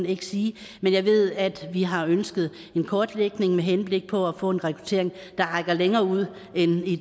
ikke sige jeg ved at vi har ønsket en kortlægning med henblik på at få en rekruttering der rækker længere ud end